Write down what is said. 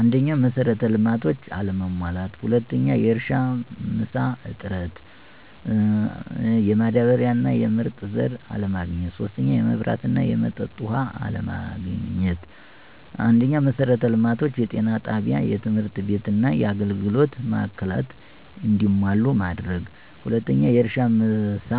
1, መሰረተ ልማቶች አለመሟላት። 2, የእርሻ መሳ እጥረት፣ የማዳበሪያ እና ምርጥ ዘር አለማግኘት 3, የመብራት እና የመጠጥ ውሃ አለማግአት። 1, መሰረተ ልማቶችን(ጤና ጣቢያ፣ ትምህርት ቤትና የአገልግሎት ማዕከላትን )እንዲሟሉ ማድረግ። 2, የእርሻ ማሳ፣